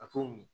A t'o min